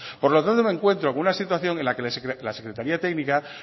por lo tanto me encuentro con una situación en la que la secretaría técnica